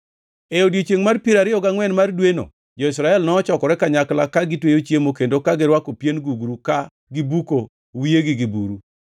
E odiechiengʼ mar piero ariyo gangʼwen mar dweno, jo-Israel nochokore kanyakla, ka gitweyo chiemo kendo ka girwako pien gugru ka gibuko wiyegi gi buru.